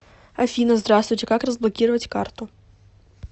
афина здравствуйте как разблокировать карту